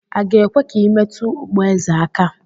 A ga-ekwe ka i metụ okpu eze aka?